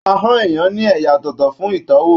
Ahọn èèyàn ní ẹyà ọ̀tọ̀ọ̀tọ̀ fún itọwo